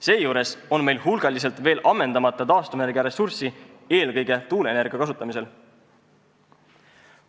Seejuures on meil hulgaliselt veel ammendamata taastuvenergiaressurssi, eelkõige tuuleenergia kasutamisel.